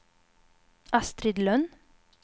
Astrid Lönn